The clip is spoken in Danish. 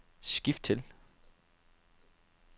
skift til